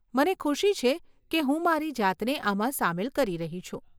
મને ખુશી છે કે હું મારી જાતને આમાં સામેલ કરી રહી છું.